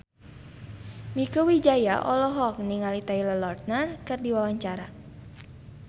Mieke Wijaya olohok ningali Taylor Lautner keur diwawancara